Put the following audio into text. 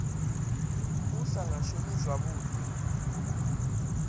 u sa nga shumi zwavhuḓi